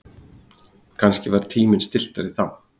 Kannski var tíminn stilltari þá.